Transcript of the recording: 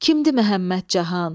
Kimdir Məhəmməd Cahan?